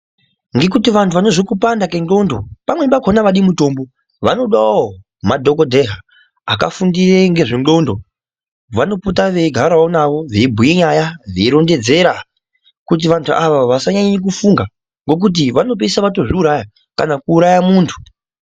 Ngekuti vantu vanozwe kupanda kendxondo pamwe pakona avadi mutombo vanodawo madhokodheya akafundire ngezvendxondo, vanopote veigarawo nawo veibhuye nyaya veirondedzera kuti vantu ava vasanyanya kufunga ngekuti vanopesa vatozviuraya kana kuuraya muntu.